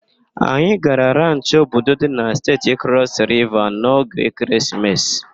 Anyị gara ranchị Obudu dị na Steeti Crọs Riva n'oge ekeresimesi.